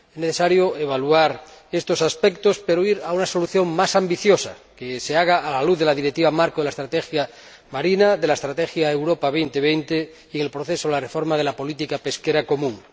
Es necesario evaluar estos aspectos e ir a una solución más ambiciosa, que se aporte a la luz de la Directiva marco sobre la estrategia marina, de la Estrategia Europa 2020 y dentro del proceso de reforma de la política pesquera común.